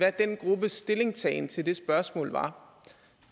stillingtagen til det spørgsmål var